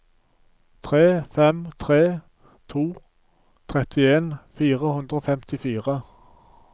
tre fem tre to trettien fire hundre og femtifire